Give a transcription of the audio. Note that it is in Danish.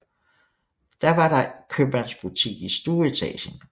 Da var der købmandsbutik i stueetagen